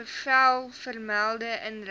bevel vermelde inrigting